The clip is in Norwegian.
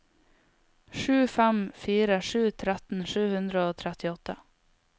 sju fem fire sju tretten sju hundre og trettiåtte